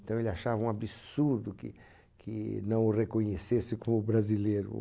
Então ele achava um absurdo que que não o reconhecesse como brasileiro.